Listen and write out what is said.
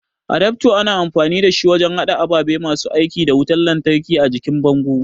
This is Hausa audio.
adafto ana amfani dashi wajen hada ababe masu aiki da wutan lantraki a jikin bango